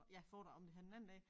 Ja foredrag om det her den anden dag